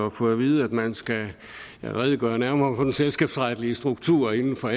at få at vide at man skal redegøre nærmere for den selskabsretlige struktur inden for